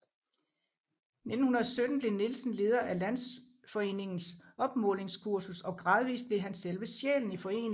I 1917 blev Nielsen leder af Landsforeningens opmålingskursus og gradvist blev han selve sjælen i foreningen